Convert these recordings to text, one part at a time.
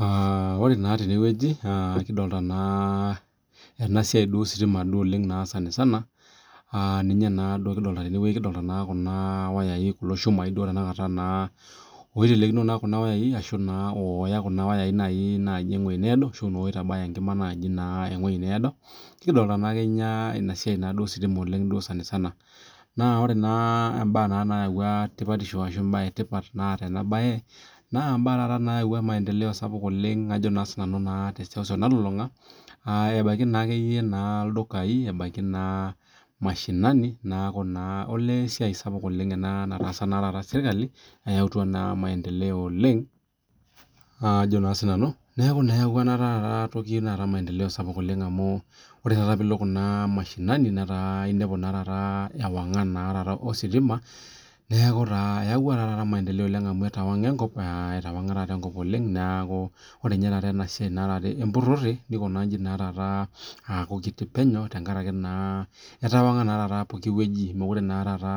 Aa ore naaa tene wueji aa kidolta naa ena siai duo ositima duo oleng' naa sanisana aa ninye naa duo kidolta tene wueji kidolta naa kuna wayai kulo shumai duo tenakata naa oitelekino naa kuna wayai ashu naa ooya kuna wayai nai naaji ewuei needo ashu noo oitabaya enkima naaji naa ewuei needo, nikidolta naa kenya ina siai naaduo ositima naa duo sanisana. Naa ore naa imbaa naa nayauwua tipatisho ashu imbaa e tipat naata ena baye naa imbaa taata naayawua maendeleo sapuk oleng' ajo naa sinanu naa te seuseu nalulung'a aa ebaiki naa akeyie naa ildukai ebaiki naa mashinani neeku naa olee esiai sapuk ena nataasa naa taata serkali eyautua naa maendeleo oleng' ajo naa sinanu. Neeku naa eyauwua naa taata ena toki maendeleo sapuk oleng' amu ore taata piilo kuna mashinani netaa inepu naa taata ewang'an naa taata ositima , neeku taa eyawua taa taata maendeleo oleng' amu etawang'a enkop aa etawang'a taata enkop oleng', neeku ore nye taata ena siai naa taata empurore nikuna nchi naa taata aaku kiti penyo tenkaraki naa etawang'a naa taata poki wueji mokure naa taata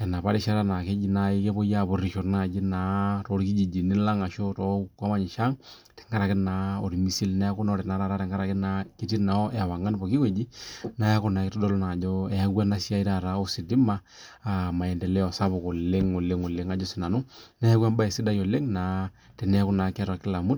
enapa rishata naake eji nai kepui aapurisho naaji naa torkijijini lang' ashu too ang' tenkaraki naa ormisil. Neeku ore naa taata tenkaraki naa ketii naa ewang'an poki wueji, neeku naa itodolu naa ajo eyawua ena siai taata ositima aa maendeleo sapuk oleng' oleng' oleng' ajo sinanu, neeku embaye sidai oleng' teneeku naa keeta kila mtu.